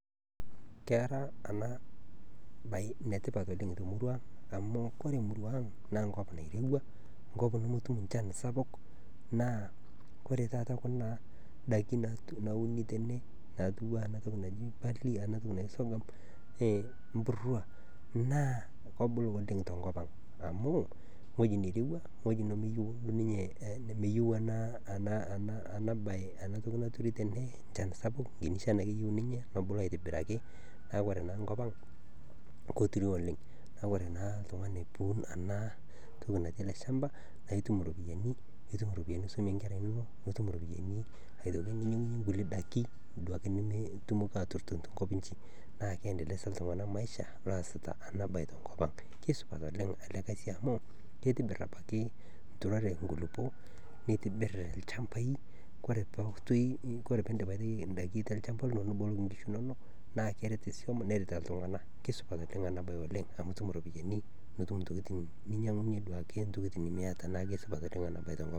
Keera eena baye enetipat oleng temurua ang' amuu, oore emuruaa ang' naa enkop nairowua, enkop nemetum enchan sapuk naa, oore taata kuna daiki nauni teene, natiu enaa eena toki naji barley weatoki naji sorghum emburwa naa kebulu oleng tenkop ang amuu, ewueji neirowua, nemeyieu eena toki nauuni teene enchan sapuk, enkiiti shan aake eyieu niinye peyie ebulu aitobiraki, naa oore naa enkop ang, keirowua oleng'. Niaku oore naa oltung'ani peyie eiun eena toki natii eele shamba naa kebulu oleng nitum iropiyiani nisumie inkera inonok, nitum iropiyiani niremie inkulie daiki naa keindeleza iltung'anak[cs[maisha ounito eena daa tenkop ang'. Keisupat apaki eena siai amuu keitobir in'daiki oore peyie iidim neboloki inkishi inonok iilo shamba, naa kert iswam neret iltung'anak. Keisupat eena siai oleng amuu itum iropiyiani nitum abaiki iropiyiani ninyiang'unyie intokitin nemiata.